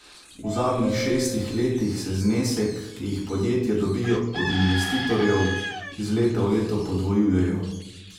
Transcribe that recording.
V zadnjih šestih letih se znesek, ki jih podjetja dobijo od investitorjev, iz leta v leto podvojujejo.